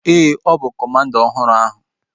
Ee, ọ bụ kọmanda ọhụrụ ahu